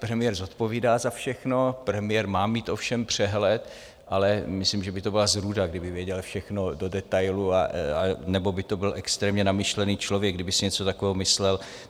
Premiér zodpovídá za všechno, premiér má mít o všem přehled, ale myslím, že by to byla zrůda, kdyby věděl všechno do detailů, anebo by to byl extrémně namyšlený člověk, kdyby si něco takového myslel.